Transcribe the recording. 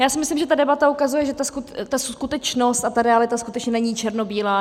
Já si myslím, že ta debata ukazuje, že ta skutečnost a ta realita skutečně není černobílá.